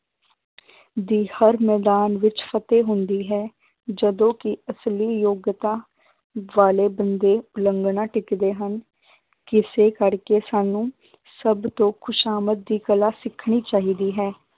ਦੀ ਹਰ ਮੈਦਾਨ ਵਿੱਚ ਫ਼ਤਿਹ ਹੁੰਦੀ ਹੈ, ਜਦੋਂ ਕਿ ਅਸਲੀ ਯੋਗਤਾ ਵਾਲੇ ਬੰਦੇ ਉਲੰਘਣਾ ਟਿੱਚਦੇ ਹਨ ਕਿਸੇ ਕਰਕੇ ਸਾਨੂੰ ਸਭ ਤੋਂ ਖ਼ੁਸ਼ਾਮਦ ਦੀ ਕਲਾ ਸਿਖਣੀ ਚਾਹੀਦੀ ਹੈ